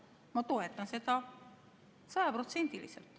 Ma toetan seda sajaprotsendiliselt.